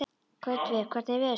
Gautviður, hvernig er veðurspáin?